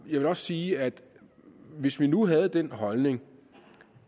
jeg vil også sige at hvis vi nu havde den holdning